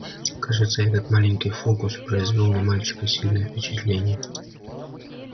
кажется этот маленький фокус произвёл на мальчика сильное впечатление